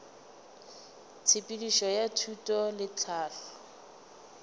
tshepedišo ya thuto le tlhahlo